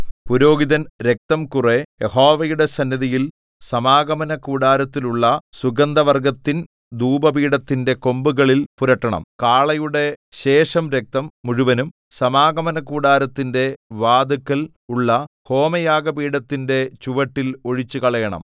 പുരോഹിതൻ രക്തം കുറെ യഹോവയുടെ സന്നിധിയിൽ സമാഗമനകൂടാരത്തിലുള്ള സുഗന്ധവർഗ്ഗത്തിൻ ധൂപപീഠത്തിന്റെ കൊമ്പുകളിൽ പുരട്ടണം കാളയുടെ ശേഷം രക്തം മുഴുവനും സമാഗമനകൂടാരത്തിന്റെ വാതില്ക്കൽ ഉള്ള ഹോമയാഗപീഠത്തിന്റെ ചുവട്ടിൽ ഒഴിച്ചുകളയണം